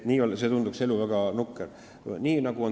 Nii tunduks see elu väga nukker.